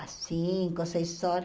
Às cinco, seis horas.